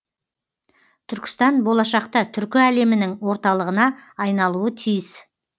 түркістан болашақта түркі әлемінің орталығына айналуы тиіс